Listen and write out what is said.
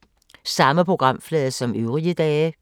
Samme programflade som øvrige dage